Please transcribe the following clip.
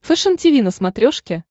фэшен тиви на смотрешке